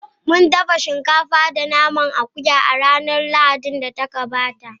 Mun dafa shinkafa da naman akuya a ranar Lahadin da ta gabata.